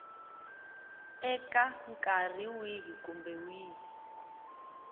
eka nkarhi wihi kumbe wihi